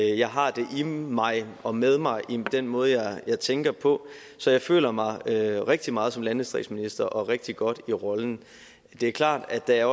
jeg har det i mig og med mig i den måde jeg tænker på så jeg føler mig rigtig meget som landdistriktsminister og rigtig godt i rollen det er klart at der